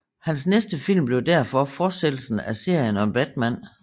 Hans næste film blev derfor fortsættelsen af serien om Batman